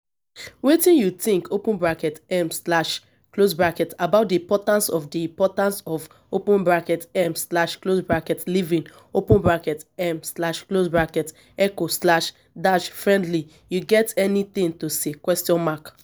wetin you think um about di importance di importance of um living um eco-friendly you get any thing to say?